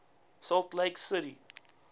salt lake city